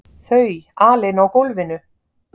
Þau alein á gólfinu!